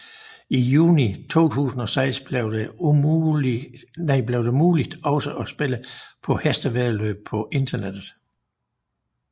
I juni 2006 blev det muligt også at spille på hestevæddeløb på internettet